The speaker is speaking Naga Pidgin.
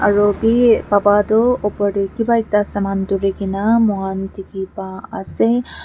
aru bi baba tu oper te kiba ekta saman duri kene moi khan dikhi pa ase.